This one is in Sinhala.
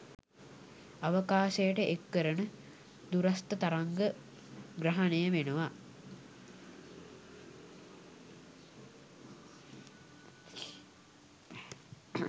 අවකාශයට එක්කරන දුරස්ථ තරංග ග්‍රහණය වෙනවා